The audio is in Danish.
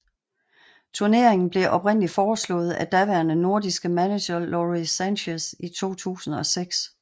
Turneringen blev oprindeligt foreslået af daværende nordirske manager Lawrie Sanchez i 2006